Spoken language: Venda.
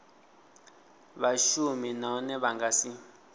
vhashumi nahone vha nga si